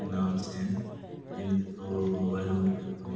के नाम से है ये इनके दो मोबाइल नंबर लिखे हुए हैं।